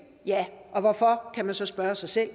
ja hvorfor kan man så spørge sig selv